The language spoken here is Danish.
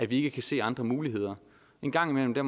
vi ikke kan se andre muligheder en gang imellem er